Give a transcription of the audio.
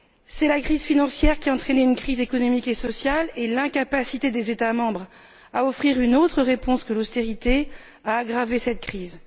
C'est la crise financière qui a entraîné une crise économique et sociale et c'est l'incapacité des États membres à offrir une autre réponse que l'austérité qui a aggravé cette crise.